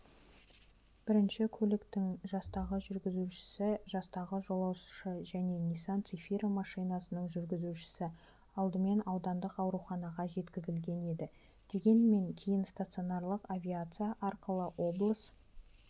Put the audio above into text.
бірінші көліктің жастағы жүргізушісі жастағы жолаушы және нисан-цефира машинасының жүргізушісі алдымен аудандық ауруханаға жеткізілген еді дегенмен кейін санитарлық авиация арқылы облыс